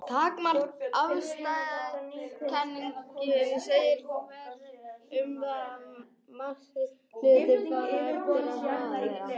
Takmarkaða afstæðiskenningin segir fyrir um það að massi hluta fari eftir hraða þeirra.